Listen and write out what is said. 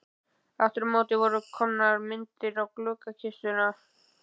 Aftur á móti voru komnar myndir í gluggakistuna.